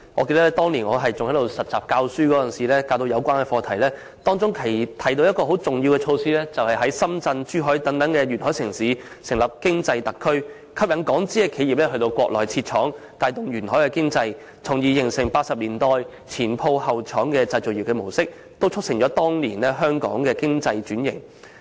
記得當年我擔任實習老師教授有關課題時，當中提到的一項很重要措施是在深圳、珠海等沿海城市成立經濟特區，吸引港資企業到國內設廠，帶動沿海經濟，從而形成1980年代"前鋪後廠"的製造業模式，也促成當年香港經濟轉型。